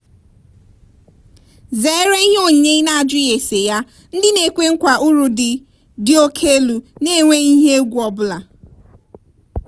zere ihe onyinye i na-ajughi ese ya ndị na-ekwe nkwa uru dị dị oke elu na-enweghị ihe egwu ego ọbụla.